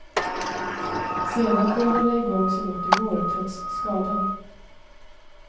Sedan får jag hålla igång så gott det går, trots skadan.